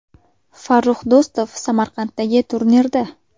Farrux Do‘stov Samarqanddagi turnirda.